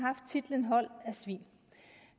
hold af svin